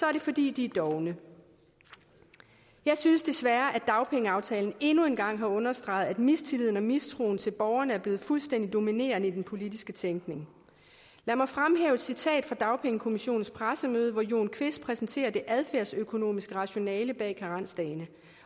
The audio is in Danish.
er det fordi de er dovne jeg synes desværre at dagpengeaftalen endnu en gang har understreget at mistilliden og mistroen til borgerne er blevet fuldstændig dominerende i den politiske tænkning lad mig fremhæve et citat fra dagpengekommissionens pressemøde hvor jon kvist præsenterede det adfærdsøkonomiske rationale bag karensdagene